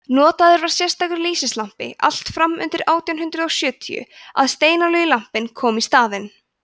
notaður var sérstakur lýsislampi allt fram undir átján hundrað og sjötíu að steinolíulampinn kom í staðinn